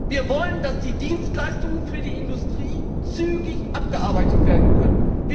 Wir wollen, dass die Dienstleistungen für die Industrie zügig abgearbeitet werden können.